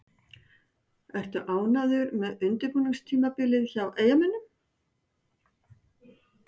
Ertu ánægður með undirbúningstímabilið hjá Eyjamönnum?